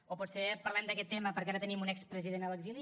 o potser parlem d’aquest tema perquè ara tenim un expresident a l’exili